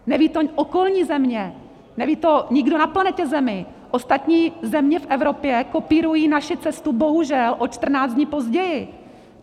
Nevědí to okolní země, neví to nikdo na planetě Zemi, ostatní země v Evropě kopírují naši cestu, bohužel, o 14 dní později.